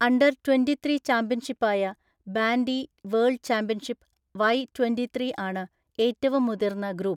Under twenty three ചാമ്പ്യൻഷിപ്പായ, bandy world championship Y twenty three ആണ് ഏറ്റവും മുതിർന്ന ഗ്രൂപ്പ്.